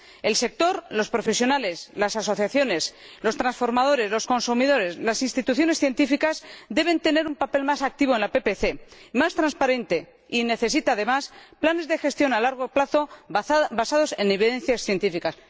El sector, los profesionales, las asociaciones, los transformadores, los consumidores y las instituciones científicas deben tener un papel más activo y más trasparente en la PPC, que necesita, además, planes de gestión a largo plazo basados en datos científicos.